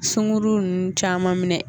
Sunguru nunnu caman minɛ